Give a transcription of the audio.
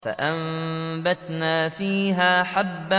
فَأَنبَتْنَا فِيهَا حَبًّا